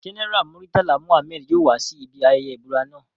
General Muritala Mohammed yoo wa si ibi ayẹyẹ ibura naa